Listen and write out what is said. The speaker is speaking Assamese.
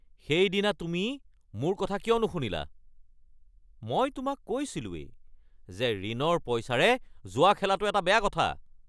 সেইদিনা তুমি মোৰ কথা কিয় নুশুনিলা? মই তোমাক কৈছিলোঁৱেই যে ঋণৰ পইচাৰে জুৱা খেলাটো এটা বেয়া কথা।